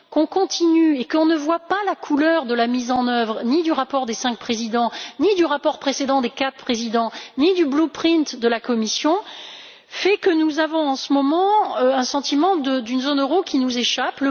mais le fait qu'on continue et qu'on ne voit pas la couleur de la mise en œuvre, ni du rapport des cinq présidents, ni du rapport précédent des quatre présidents, ni du Blueprint de la Commission en est une autre, et nous avons en ce moment le sentiment d'une zone euro qui nous échappe.